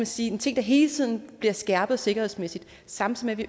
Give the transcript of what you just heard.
sige en ting der hele tiden bliver skærpet sikkerhedsmæssigt samtidig